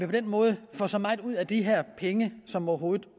på den måde får så meget ud af de her penge som overhovedet